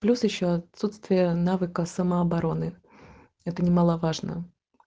плюс ещё отсутствие навыков самообороны это немаловажно